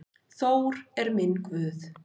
Þór er minn guð.